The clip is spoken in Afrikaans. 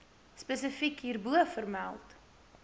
spesifiek hierbo vermeld